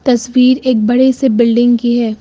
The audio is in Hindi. तस्वीर एक बड़े से बिल्डिंग की है।